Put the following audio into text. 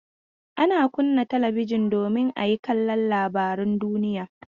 Ana kunna talabijin domin a yi kallon labarun duniya.